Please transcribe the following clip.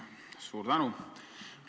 Suur tänu!